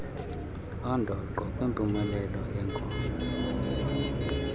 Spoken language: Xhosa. oondoqo kwimpumelelo yeenkonzo